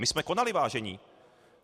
My jsme konali, vážení.